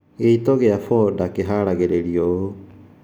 Gĩito gĩa foda kĩharagĩrio ũũ